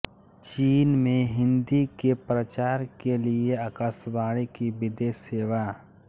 चीन में हिन्दी के प्रचार के लिए आकाशवाणी की विदेश सेवा